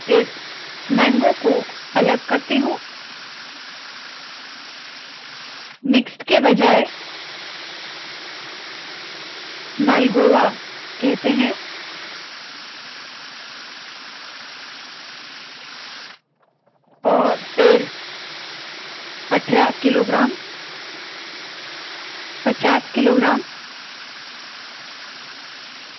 इस मैंगगो को अलग करती हूँ मिक्स्ड के बजाय इसे मालगोआ कहते है और फिर 18 किलोग्राम्स 50 किलोग्राम्स